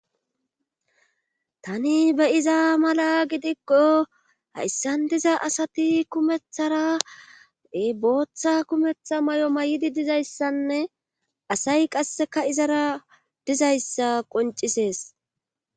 tani be'iza mala gidikko hayssan diza asati kumetharae booththa kumetha may7o may7idi dizayssanne asay qasseka izara dizayssa qoncisees